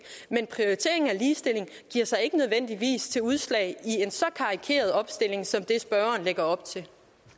men prioriteringen af ligestilling giver sig ikke nødvendigvis udslag i en så karikeret opstilling som det spørgeren lægger op til